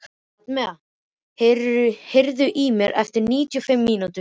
Amadea, heyrðu í mér eftir níutíu og fimm mínútur.